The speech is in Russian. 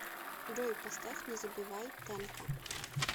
джой поставь не забывай тенка